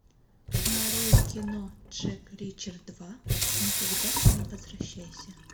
нарой кино джек ричер два никогда не возвращайся